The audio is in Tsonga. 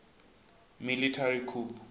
military coup